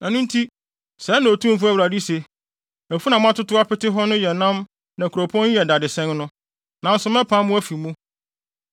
“Ɛno nti, sɛɛ na Otumfo Awurade se: Afunu a moatotow apete hɔ no yɛ nam na kuropɔn yi ne dadesɛn no, nanso mɛpam mo afi mu.